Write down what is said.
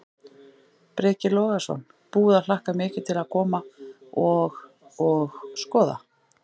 Breki Logason: Búið að hlakka mikið til að koma og, og skoða?